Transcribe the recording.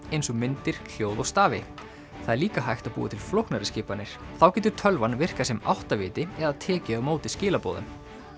eins og myndir hljóð og stafi það er líka hægt að búa til flóknari skipanir þá getur tölvan virkað sem áttaviti eða tekið á móti skilaboðum